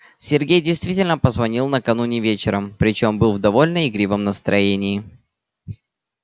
сергей действительно позвонил накануне вечером причём был в довольно игривом настроении